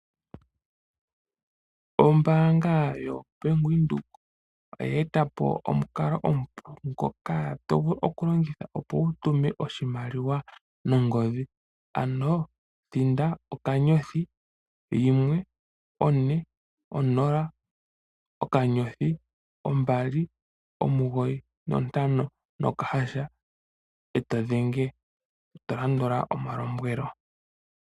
Ombaanga yo Bank Windhoek oye eta po omukalo omupu ngoka to vulu okulongitha opo wu tume oshimaliwa nongodhi. Ano thinda okanyothi yimwe ,one, onola, okanyothi, ombali, omugoyi, nontano nokahasha eto dhenge, to landula omalombwelo.